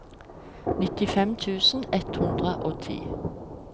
nittifem tusen ett hundre og ti